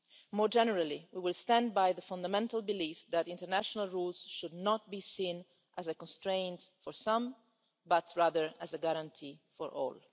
More generally, we will stand by the fundamental belief that international rules should not be seen as a constraint for some, but rather as a guarantee for all.